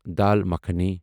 dal makhani